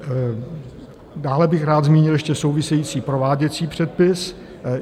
Dále bych rád zmínil ještě související prováděcí předpis.